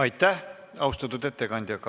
Aitäh, austatud ettekandja!